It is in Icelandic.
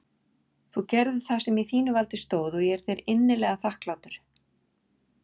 Þú gerðir það sem í þínu valdi stóð og ég er þér innilega þakklátur.